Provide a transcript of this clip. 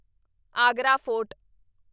Agra fort